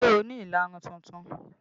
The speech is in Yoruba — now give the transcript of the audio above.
Ṣé ẹ ni ìlarun tuntun?